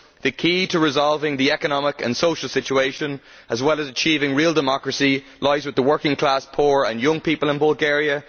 The key to resolving the economic and social situation, as well as to achieving real democracy, lies with the working class poor and young people in Bulgaria.